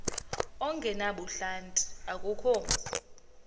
ongenabuhlanti akukho mzi